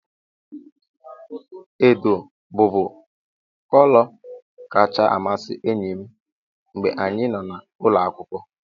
Edo bụbu kọlọ kacha amasị enyi m mgbe anyị nọ n'ụlọ akwụkwọ.